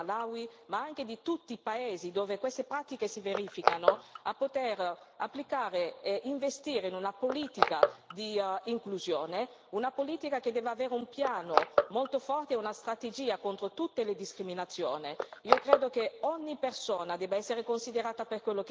Quindi noi siamo qui per chiedere al governo, non solo del Malawi, ma anche di tutti i paesi dove queste pratiche si verificano, di applicare e investire in una politica di inclusione, una politica che deve avere un piano molto forte e una strategia contro tutte le discriminazioni.